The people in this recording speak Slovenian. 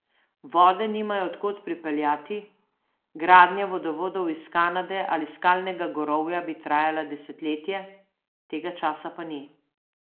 Vode nimajo od kod pripeljati, gradnja vodovodov iz Kanade ali Skalnega gorovja bi trajala desetletje, tega časa pa ni.